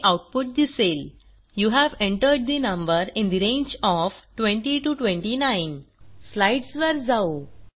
हे आऊटपुट दिसेल you have entered the number in the range of 20 29 स्लाईडसवर जाऊ